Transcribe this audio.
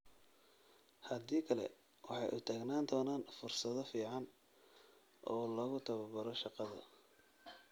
Haddii kale, waxay u taagnaan doonaan fursado fiican oo lagu tababaro shaqada.